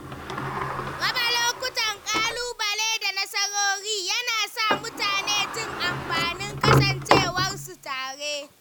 Raba lokutan ƙalubale da nasarori na sa mutane jin amfanin kasancewar su tare.